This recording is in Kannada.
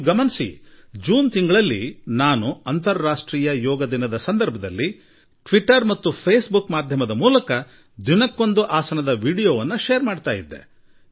ನಾನು ಜೂನ್ ತಿಂಗಳಿನಲ್ಲಿ ಅಂತಾರಾಷ್ಟ್ರೀಯ ಯೋಗ ದಿನದ ನಿಮಿತ್ತ ಟ್ವಿಟರ್ ಮತ್ತು ಫೇಸ್ ಬುಕ್ ಗಳಲ್ಲಿ ಪ್ರತಿನಿತ್ಯ ಒಂದು ಹೊಸ ಆಸನದ ವೀಡಿಯೋ ಹಂಚಿಕೊಳ್ಳುತ್ತಿದ್ದೆ